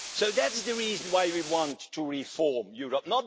That's the reason why we want to reform Europe